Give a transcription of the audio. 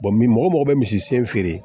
mɔgɔ bɛ misi sen feere